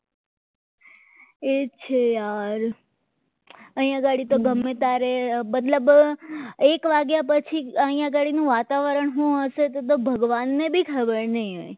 એ છે યાર અહીંયા ઘડી તો ગમે ત્યારે મતલબ તો એક વાગ્યા પછી અહીંયા ગાડીનું વાતાવરણ શું હશે એ તો ભગવાનને પણ ખબર નહીં હોય